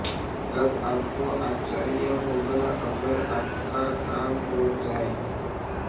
तब आपको आश्चर्य होगा अगर आपका काम हो जाए